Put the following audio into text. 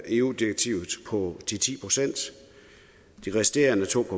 eu direktivet på de ti procent de resterende to